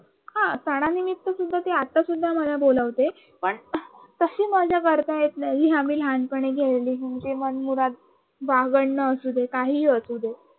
हा सणानिमित्त सुद्धा आता सुद्धा मला बोलावते पण तशी मजा करता येत नाही जी आम्ही लहानपणी खेळली म्हणजे मनमुराद बागडना असुदे काही असू दे